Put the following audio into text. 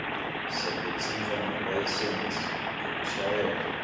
sekuntjintjwa kwelayisensi yekushayela